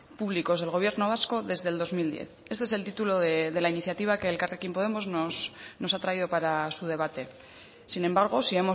públicos del gobierno vasco desde el dos mil diez este es el título de la iniciativa que elkarrekin podemos nos ha traído para su debate sin embargo si